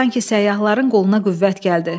Sanki səyyahların qoluna qüvvət gəldi.